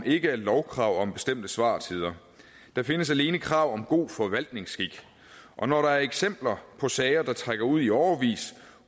ikke er lovkrav om bestemte svartider der findes alene krav om god forvaltningsskik og når der er eksempler på sager der trækker ud i årevis